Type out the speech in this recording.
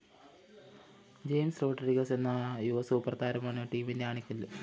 James Rodriguez എന്ന യുവസൂപ്പര്‍താരമാണ് ടീമിന്റെ ആണിക്കല്ല്